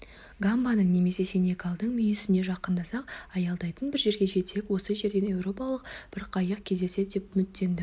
гамбаның немесе сенегалдың мүйісіне жақындасақ аялдайтын бір жерге жетсек осы жерден еуропалық бір қайық кездесер деп үміттендім